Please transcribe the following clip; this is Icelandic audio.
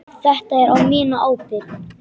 Þetta er á mína ábyrgð.